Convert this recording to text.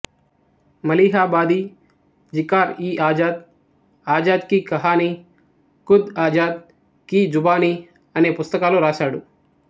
మలీహాబాదీ జికార్ఇఆజాద్ ఆజాద్ కి కహానీ ఖుద్ ఆజాద్ కీ జుబానీ అనే పుస్తకాలు రాసాడు